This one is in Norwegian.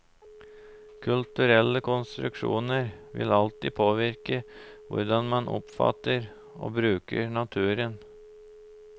Kulturelle konstruksjoner vil alltid påvirke hvordan man oppfatter og bruker naturen.